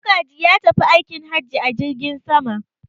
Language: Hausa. Magaji ya tafi aikin haji a jirgin sama.